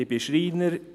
Ich bin Schreiner.